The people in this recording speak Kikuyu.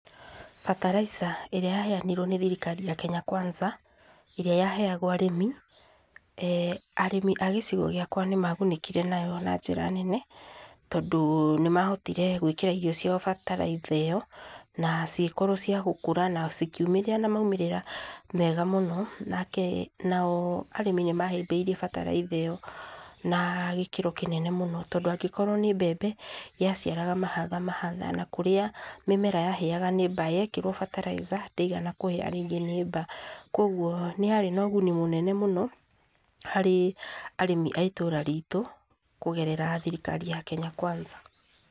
Fertiliser ĩrĩa yaheanĩrwo ni thirikari ya Kenya Kwanza, ĩrĩa yaheagwo arĩmi, arĩmi a gĩcigo gĩakwa nĩ magunĩkire nayo na njĩra nene, tondũ nĩ mahotire gwĩkĩra irio ciao bataraitha ĩyo, na cigĩkorwo cia gũkũra na cikiumĩrĩra na maumĩrĩra mega mũno. Nao arĩmi nĩ mahĩmbĩirie bataraitha ĩyo na gĩkĩro kĩnene mũno, tondũ angĩkorwo ni mbembe yaciaraga mahatha mahatha, na kũrĩa mĩmera yahĩaga ni mbaa yekĩrwo fertiliser ndĩigana kũhĩa rĩngĩ nĩ mbaa. Kogwo nĩ yarĩ na ũguni mũnene mũno harĩ arĩmi a itũra ritu kũgerera thirikari ya Kenya Kwanza.